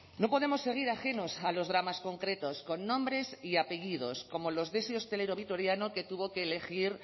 no podemos seguir ajenos a los dramas concretos con nombres y apellidos como los de ese hostelero vitoriano que tuvo que elegir